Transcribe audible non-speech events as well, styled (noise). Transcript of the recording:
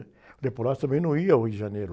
O (unintelligible) também não ia ao Rio de Janeiro.